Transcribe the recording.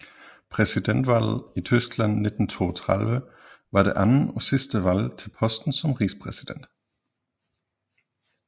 Præsidentvalget i Tyskland 1932 var det andet og sidste valg til posten som rigspræsident